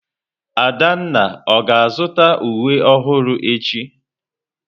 Adanna ọ ga-azụta uwe ọhụrụ echi?